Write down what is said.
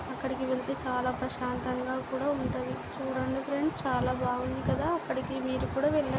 అక్కడికి వెళ్తే చాలా ప్రశాంతంగా కూడా ఉంటాది. చుడండి ఫ్రెండ్స్ చాలా బాగుంది కదా. అక్కడకి మీరు కూడా వెల్--